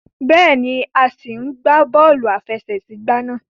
Béèni, a sí n gbà bóòlù àfẹsẹ̀gbá náà